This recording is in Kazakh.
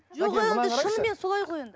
жоқ енді шынымен солай ғой